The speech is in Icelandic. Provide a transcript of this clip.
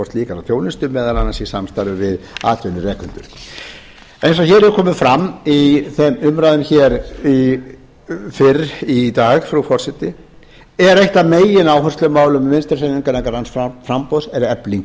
á slíka þjónustu meðal annars í samstarfi við atvinnurekendur eins og hér hefur komið áform í umræðum fyrr í dag frú forseti er eitt af megináherslumálum vinstri hreyfingarinnar græns framboðs efling